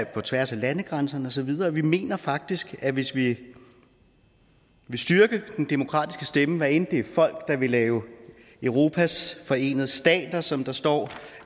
på tværs af landegrænserne og så videre vi mener faktisk at hvis vi vil styrke den demokratiske stemme hvad enten det er folk der vil lave europas forenede stater som der står